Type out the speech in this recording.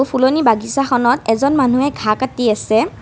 ফুলনি বাগিচাখনত এজন মানুহে ঘাঁহ কাটি আছে।